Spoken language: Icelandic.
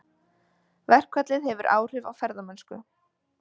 Verkfallið hefur áhrif á ferðamennsku